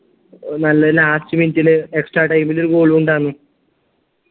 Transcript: നല്ല last minute ല് extra time ൽ ഒരു goal ഉം ഉണ്ടായ്‌ൻ